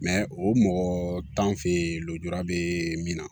o mɔgɔ t'an fɛ yen lujura be min na